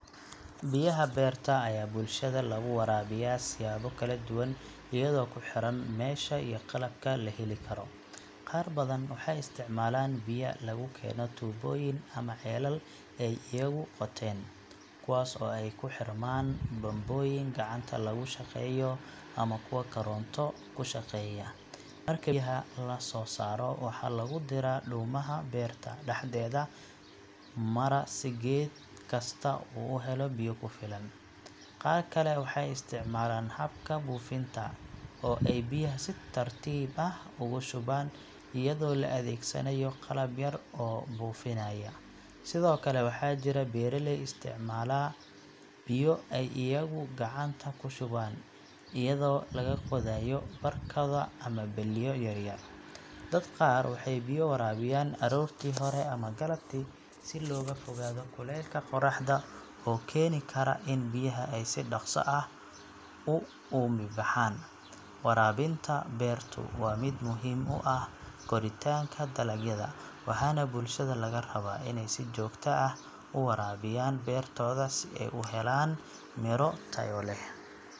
Biyaha beerta ayaa bulshada lagu waraabiyaa siyaabo kala duwan iyadoo ku xiran meesha iyo qalabka la heli karo. Qaar badan waxay isticmaalaan biyo lagu keeno tuubooyin ama ceelal ay iyagu qoteen, kuwaas oo ay ku xirmaan bambooyin gacanta lagu shaqeeyo ama kuwa koronto ku shaqeeya. Marka biyaha la soo saaro, waxaa lagu diraa dhuumaha beerta dhexdeeda mara si geed kasta uu u helo biyo ku filan. Qaar kale waxay isticmaalaan habka buufinta, oo ay biyaha si tartiib ah ugu shubaan iyadoo la adeegsanayo qalab yar oo buufinaya. Sidoo kale, waxaa jira beeraley isticmaala biyo ay iyagu gacanta ku shubaan iyadoo laga qaadayo barkado ama balliyo yar yar. Dadka qaar waxay biyo waraabiyaan aroortii hore ama galabtii si looga fogaado kulaylka qorraxda oo keeni kara in biyaha ay si dhaqso ah u uumibaxaan. Waraabinta beertu waa mid muhiim u ah koritaanka dalagyada, waxaana bulshada laga rabaa inay si joogto ah u waraabiyaan beertooda si ay u helaan miro tayo leh.